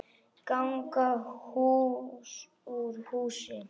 LÁRUS: Ganga hús úr húsi!